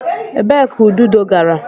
Ebee ka ududo gara?